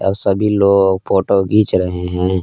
सभी लोग फोटो घिंच रहे हैं।